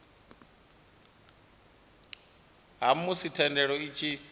ha musi thendelo i tshi